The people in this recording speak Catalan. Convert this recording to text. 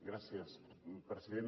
gràcies senyora presidenta